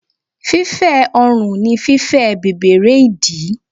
Fífẹ́ ọrùn ni fífẹ̀ bẹ̀bẹ̀rẹ́ ìdí.